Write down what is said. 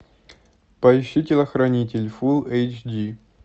поищи телохранитель фул эйч ди